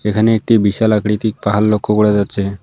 এখানে একটি বিশাল আকৃতির পাহাড় লক্ষ্য করে যাচ্ছে।